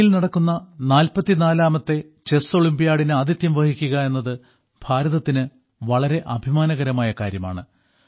ചെന്നൈയിൽ നടക്കുന്ന 44 ാമത്തെ ചെസ് ഒളിമ്പ്യാഡിന് ആതിഥ്യം വഹിക്കുക എന്നത് ഭാരതത്തിന് വളരെ അഭിമാനകരമായ കാര്യമാണ്